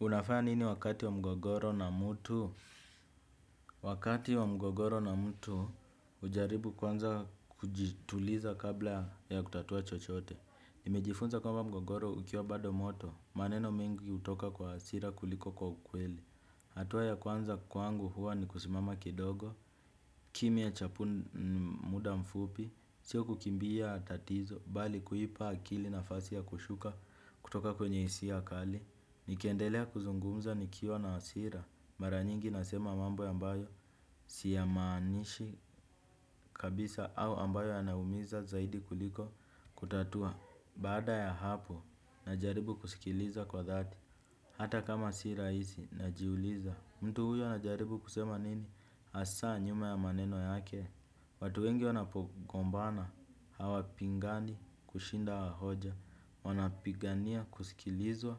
Unafanya nini wakati wa mgogoro na mtu? Wakati wa mgogoro na mtu, hujaribu kwanza kujituliza kabla ya kutatua chochote. Nimejifunza kwamba mgogoro ukiwa bado moto, maneno mengi hutoka kwa hasira kuliko kwa ukweli. Hatua ya kwanza kwangu huwa ni kusimama kidogo, kimya cha muda mfupi, sio kukimbia tatizo, bali kuipa akili nafasi ya kushuka kutoka kwenye hisia kali. Nikiendelea kuzungumza nikiwa na hasira, mara nyingi nasema mambo ambayo siyamaanishi kabisa au ambayo yanaumiza zaidi kuliko kutatua. Bada ya hapo najaribu kusikiliza kwa dhati. Hata kama si rahisi najiuliza, mtu huyo anajaribu kusema nini hasa nyuma ya maneno yake. Watu wengi wanapogombana hawapingani kushinda hoja. Wanapigania kusikilizwa,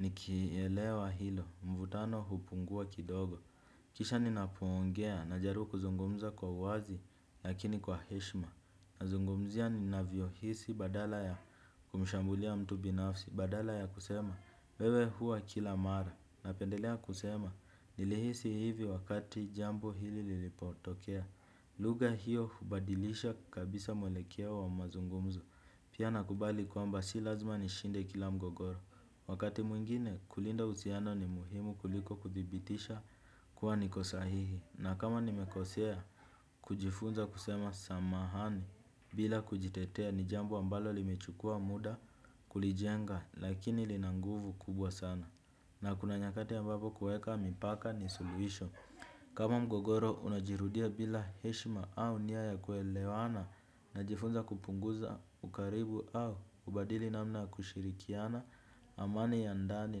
nikielewa hilo mvutano hupungua kidogo. Kisha ninapoongea najaribu kuzungumza kwa uwazi lakini kwa heshima. Nazungumzia ninavyohisi badala ya kumshambulia mtu binafsi badala ya kusema, 'wewe huwa kila mara', napendelea kusema, "nilihisi hivi wakati jambo hili lilipotokea." Lugha hiyo hubadilisha kabisa mwelekeo wa mazungumzo. Pia nakubali kwamba si lazima nishinde kila mgogoro. Wakati mwingine kulinda uhusiano ni muhimu kuliko kuthibitisha kuwa niko sahihi, na kama nimekosea kujifunza kusema samahani. Bila kujitetea ni jambo ambalo limechukua muda kulijenga lakini lina nguvu kubwa sana. Na kuna nyakati ambapo kuweka mipaka ni suluhisho. Kama mgogoro unajirudia bila heshima au nia ya kuelewana. Najifunza kupunguza ukaribu au kubadili namna ya kushirikiana. Amani ya ndani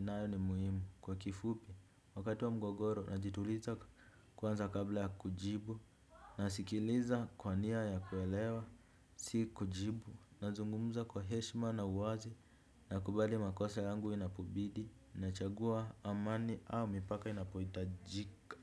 nayo ni muhimu. Kwa kifupi wakati wa mgogoro najituliza kwanza kabla ya kujibu. Nasikiliza kwa nia ya kuelewa, si kujibu, nazungumza kwa heshima na uwazi. Nakubali makosa yangu inapobidi. Nachagua amani au mipaka inapohitajika.